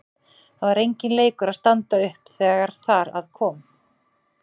Það var enginn leikur að standa upp þegar þar að kom.